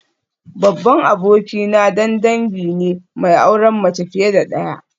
Babban abokina dan dangi ne mai auren mace fiye da daya